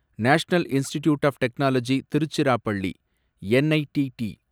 national institute of technology Tiruchirappalli, NITT